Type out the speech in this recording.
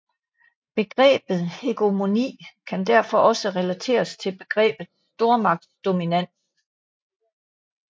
Begrebet hegemoni kan derfor også relateres til begrebet stormagtsdominans